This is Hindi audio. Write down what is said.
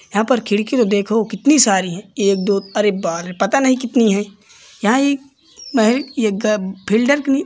यहां पर खिड़की तो देखो कितनी सारी है। एक दो अरे बा रे पता नही कितनी है। यहां एक एक फील्डर भी --